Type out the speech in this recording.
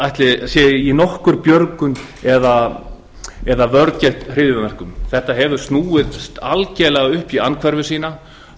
í því sé nokkur björgun eða vörn gegn hryðjuverkum þetta hefur snúist algjörlega upp í andhverfu sína